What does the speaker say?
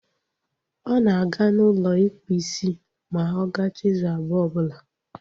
Ọ na-aga n'ụlọ ịkpụ isi ma ọ gachaa izu abụọ ọbụla